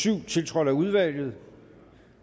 syv tiltrådt af udvalget